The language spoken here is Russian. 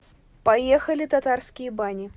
поехали татарские бани